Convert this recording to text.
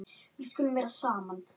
Við skulum vera saman.